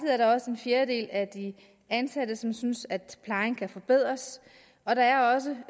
er der også en fjerdedel af de ansatte som synes at plejen kan forbedres og der er også